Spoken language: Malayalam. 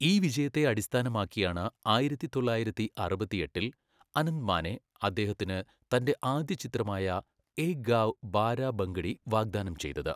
ഈ വിജയത്തെ അടിസ്ഥാനമാക്കിയാണ് ആയിരത്തി തൊള്ളായിരത്തി അറുപത്തിയെട്ടിൽ അനന്ത് മാനെ അദ്ദേഹത്തിന് തന്റെ ആദ്യ ചിത്രമായ ഏക് ഗാവ് ബാരാ ഭംഗഡി വാഗ്ദാനം ചെയ്തത്.